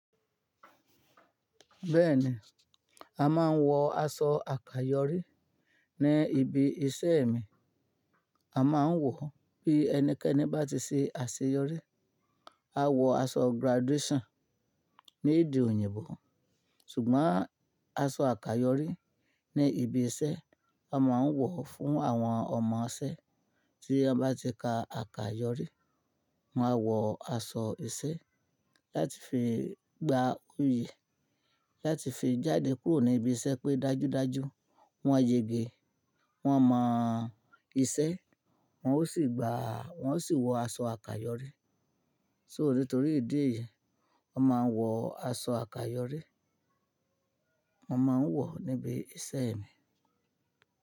Bẹ́ẹ̀ni, a máa ń wọ aṣọ àkáyọrí ní ibi iṣẹ́ mi. A ma ń wọ bí ẹnikẹ́ni bá ti ṣe àṣeyọrí, a wọ aṣọ graduation ní èdè òyìnbó. Sùgbọ́n aṣọ àkáyọrí ní ibi iṣẹ́, a ma ń wọ̀ fún àwọn ọmọ iṣẹ́ tí wọ́n bá ti ka àkáyọrí. Wọ́n á wọ aṣọ iṣẹ́ láti fi gba oyè láti fi jáde kúrò ní ibi iṣẹ́ pé dájúdájú wọ́n yẹge, wọn mọ̀ iṣẹ́, wọn ó sì gba Wọ́n ó sì wọ aṣọ àkáyọrí. So nítorí ìdí èyí, wọ́n máa ń wọ aṣọ àkáyọrí, wọ́n ma ń wọ̀ níbi iṣẹ́ mi.